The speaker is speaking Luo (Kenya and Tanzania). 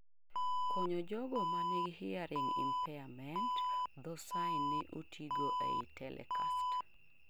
konyo jogo mangihearing impairment, dhoo sign ne otigo ei telecast